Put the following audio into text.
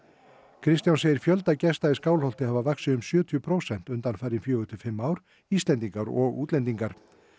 Kristján segir fjölda gesta í Skálholt hafa vaxið um sjötíu prósent undanfarin fjögur til fimm ár Íslendingar og útlendingar